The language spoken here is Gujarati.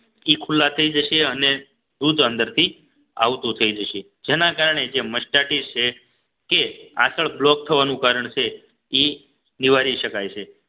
એ ખુલ્લા થઈ જશે અને દૂધ અંદરથી આવતું થઈ જશે જેના કારણે જે મસ્ટાટીસ છે કે આંચળ block થવાનું કારણ છે એ નિવારી શકાય છે